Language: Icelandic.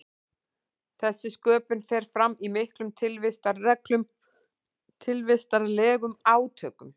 þessi sköpun fer fram í miklum tilvistarlegum átökum